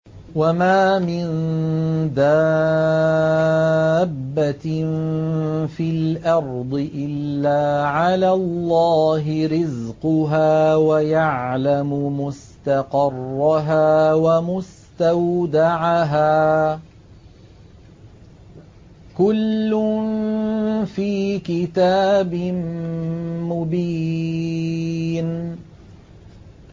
۞ وَمَا مِن دَابَّةٍ فِي الْأَرْضِ إِلَّا عَلَى اللَّهِ رِزْقُهَا وَيَعْلَمُ مُسْتَقَرَّهَا وَمُسْتَوْدَعَهَا ۚ كُلٌّ فِي كِتَابٍ مُّبِينٍ